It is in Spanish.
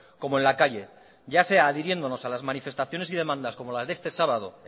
como en la calle ya sea adhiriéndonos a las manifestaciones y demandas como las de este sábado